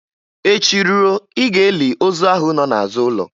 Echi ruo, Ị ga-eli ozu ahụ nọ n'azụ ụlọ